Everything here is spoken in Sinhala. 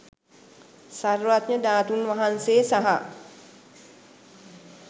සර්වඥ ධාතූන් වහන්සේ සහ